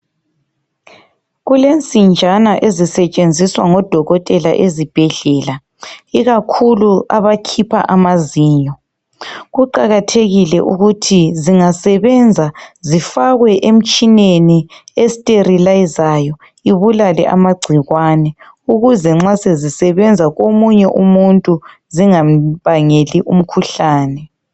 Kulensinjana ezisetshenziswa ngodokotela ezibhedlela ikakhulu abakhipha amazinyo. Kuqakathekile ukuthi zingasebenza zifakwe emtshineni esterelayizayo ibulale amagcikwane ukuze nxa sezisebenza komunye umuntu zingambangeli umkhuhlane.